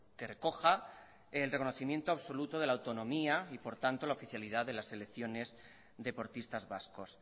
que recoja el reconocimiento absoluto de la autonomía y por tanto la oficialidad de las selecciones deportistas vascos